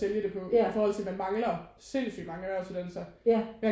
Ja ja